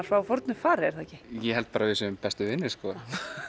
frá fornu fari er það ekki ég held bara að við séum bestu vinir sko